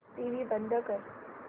TV बंद कर